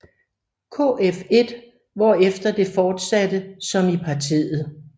Kf1 hvorefter det fortsatte som i partiet